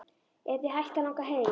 Er þig hætt að langa heim?